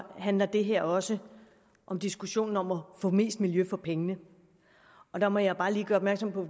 handler det her også om diskussionen om at få mest miljø for pengene og der må jeg bare lige gøre opmærksom på